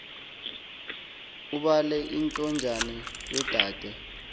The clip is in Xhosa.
ubale intonjane yodade